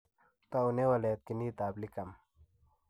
Toune waletab ginitab L1CAM?